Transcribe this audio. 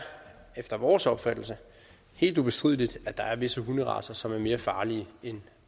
efter vores opfattelse helt ubestrideligt at der er visse hunderacer som er mere farlige end